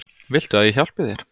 Viltu að ég hjálpi þér?